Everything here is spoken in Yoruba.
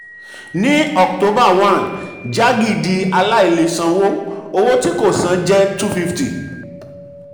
ní october one jaggi di aláìlèsanwó owó tí kò um san jẹ́ two fifty.